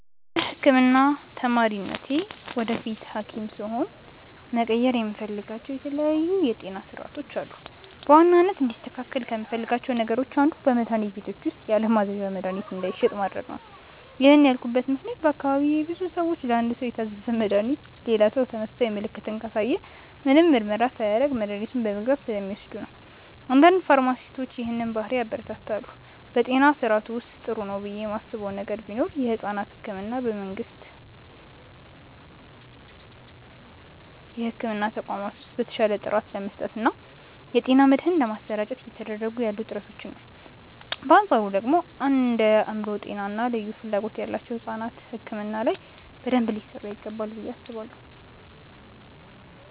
እንደ ህክምና ተማሪነቴ ወደፊት ሀኪም ስሆን መቀየር የምፈልጋቸው የተለያዩ የጤና ስርዓቶች አሉ። በዋናነት እንዲስተካከል ከምፈልጋቸው ነገሮች አንዱ በመድሀኒት ቤቶች ውስጥ ያለማዘዣ መድሀኒት እንዳይሸጥ ማድረግ ነው። ይህን ያልኩበት ምክንያት በአካባቢዬ ብዙ ሰዎች ለአንድ ሰው የታዘዘን መድሃኒት ሌላ ሰው ተመሳሳይ ምልክትን ካሳየ ምንም ምርመራ ሳያደርግ መድኃኒቱን በመግዛት ስለሚወስዱ ነው። አንዳንድ ፋርማሲስቶች ይህንን ባህሪ ያበረታታሉ። በጤና ስርዓቱ ውስጥ ጥሩ ነው ብዬ ማስበው ነገር ቢኖር የሕፃናት ሕክምናን በመንግስት የሕክምና ተቋማት ውስጥ በተሻለ ጥራት ለመስጠት እና የጤና መድህን ለማሰራጨት እየተደረጉ ያሉ ጥረቶችን ነው። በአንፃሩ ደግሞ እንደ የአእምሮ ጤና እና ልዩ ፍላጎት ያላቸው ሕፃናት ሕክምና ላይ በደንብ ሊሰራ ይገባል ብዬ አስባለሁ።